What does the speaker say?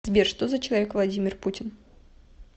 сбер что за человек владимир путин